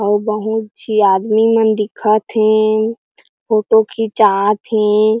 अउ बहुत झी आदमी मन दिखा थे फोटो खिचा थे।